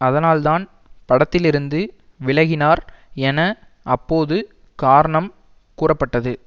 அதனால் தான் படத்திலிருந்து விலகினார் என அப்போது காரணம் கூறப்பட்டது